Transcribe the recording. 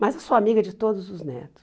Mas eu sou amiga de todos os netos.